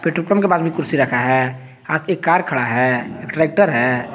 Petrol pump के पास में कुर्सी रखा है आगे एक कार खड़ा है ट्रैक्टर है।